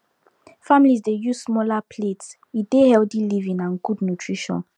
families dey use smaller plates e dey healthy living and good nutrition